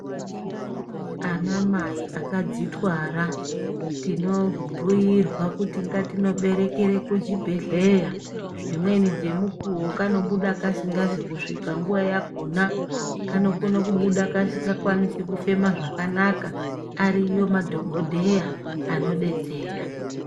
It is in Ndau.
Ana mai akadzitwara tinombuirwa kuti ngatinoberekere kuchibhedhleya. Dzimweni dzemukuvo kanobuda kasingazi kusvika nguva yakona. Kanokona kubuda kasinga koni kufema zvakanaka ariyo madhogodheya anobetsera.